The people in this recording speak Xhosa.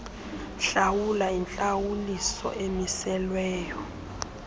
hlawula intlawuliso emiselweyo